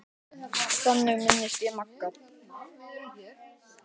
Þannig minnist ég Magga.